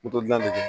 dilan de bɛ kɛ